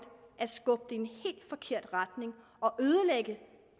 at skubbe det i en helt forkert retning og ødelægge